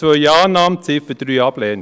2 Annahme, Ziffer 3 Ablehnung.